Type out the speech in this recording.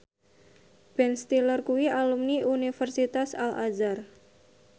Ben Stiller kuwi alumni Universitas Al Azhar